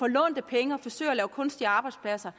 lånte penge og forsøger at lave kunstige arbejdspladser